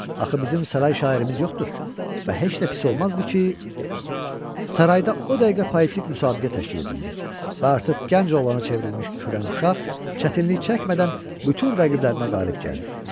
Axı bizim saray şairimiz yoxdur və heç də pis olmazdı ki, sarayda o dəqiqə poetik müsabiqə təşkil edildi və artıq gənc oğlana çevrilmiş kürəkən uşaq çətinlik çəkmədən bütün rəqiblərinə qalib gəldi.